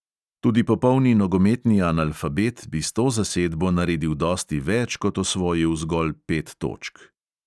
Tudi popolni nogometni analfabet bi s to zasedbo naredil dosti več kot osvojil zgolj pet točk.